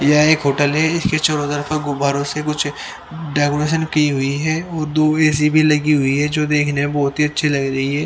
यह एक होटल है इसको चारों तरफ से गुब्बारों से कुछ डेकोरेशन की हुई है और दो ऐ_सी भी लगी हुई है जो देखना बहुत ही अच्छी लग रही है।